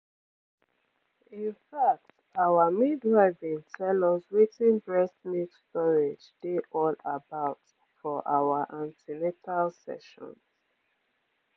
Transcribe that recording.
in fact our midwife been tell us wetin breast milk storage dey all about for our an ten atal sessions